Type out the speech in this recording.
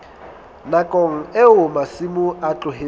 nakong eo masimo a tlohetsweng